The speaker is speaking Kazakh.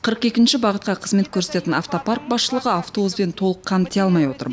қырық екінші бағытқа қызмет көрсететін автопарк басшылығы автобуспен толық қамти алмай отыр